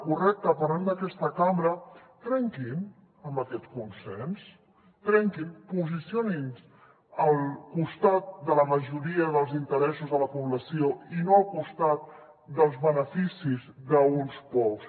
correcte parlem d’aquesta cambra trenquin amb aquest consens trenquin lo posicionin se al costat de la majoria dels interessos de la població i no al costat dels beneficis d’uns pocs